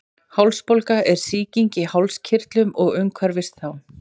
hálsbólga er sýking í hálskirtlum og umhverfis þá